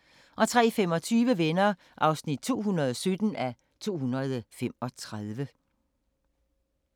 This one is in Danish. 03:25: Venner (217:235)